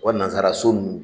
U ka nansaraso nunnu